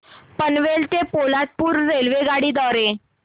पनवेल ते पोलादपूर रेल्वेगाडी द्वारे